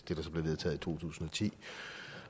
det der så blev vedtaget i to tusind og ti